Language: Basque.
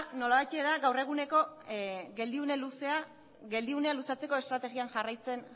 nolabait da gaur eguneko geldiunea luzatzeko estrategia